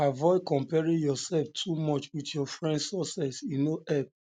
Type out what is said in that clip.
avoid comparing yourself too much with your friends success e no help